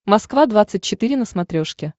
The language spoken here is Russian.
москва двадцать четыре на смотрешке